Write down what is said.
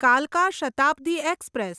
કાલકા Shatabdi express